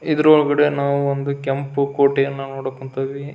ಇದರೊಳಗೆ ನಾವು ಒಂದು ಕೆಂಪು ಕೋಟೆಯನ್ನ ನೋಡಕೆ ಕುಂತೀವಿ.